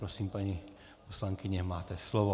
Prosím, paní poslankyně, máte slovo.